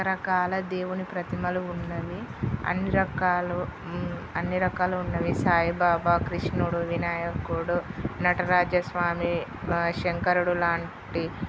రకాల దేవుని ప్రతిమలు ఉన్నవి అన్ని రకాలు అన్ని రకాలు ఉన్నవి సాయిబాబా కృష్ణుడు వినాయకుడు నటరాజస్వామి ఆ శంకరుడు లాంటి--